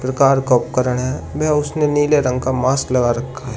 प्रकार का उपकरण है व उसने नीले रंग का मास्क लगा रखा है।